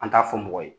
An t'a fɔ mɔgɔ ye